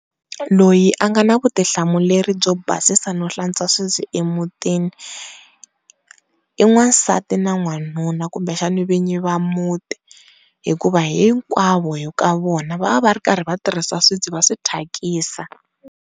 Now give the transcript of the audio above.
Loyi a nga na vutihlamuleri byo basisa no hlantswa swibye emutini i n'wasati na nwanuna kumbe xana vinyi va muti, hikuva hinkwavo hi ka vona va va ri karhi va tirhisa swibyi va swi thyakisa.